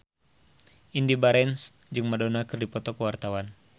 Indy Barens jeung Madonna keur dipoto ku wartawan